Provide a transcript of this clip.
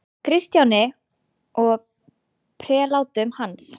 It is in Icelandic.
Kristjáni og prelátum hans.